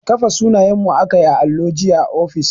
Kafe sunanyenmu aka yi a allo jiya a ofis